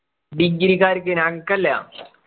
degree ക്കാർക്ക് ഞങ്ങക്കല്ല